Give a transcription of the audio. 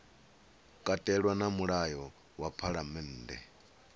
katelwa na mulayo wa phalammennde